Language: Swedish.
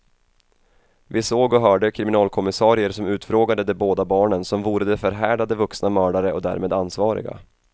Vi såg och hörde kriminalkommissarier som utfrågade de båda barnen som vore de förhärdade vuxna mördare och därmed ansvariga.